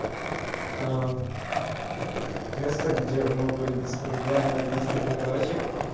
место где могут быть проблемы на английский переводчик